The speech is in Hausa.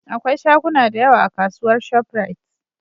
akwai shaguna da yawa a kasuwar shop rite